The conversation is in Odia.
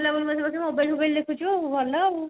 ନିଦ ଲାଗୁନି ବୋଧେ ବସି mobile ଫୋବାଇଲ ଦେଖୁଛୁ ଭଲ ଆଉ